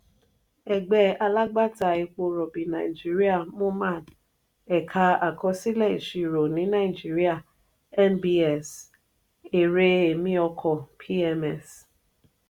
ẹgbẹ alagbata epo robi nàìjíríà (moman) èka àkọsílẹ ìṣirò ní nàìjíríà (nbs) èrè èmi ọkọ (pms)